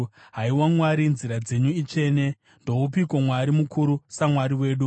Haiwa Mwari, nzira dzenyu itsvene. Ndoupiko mwari mukuru saMwari wedu?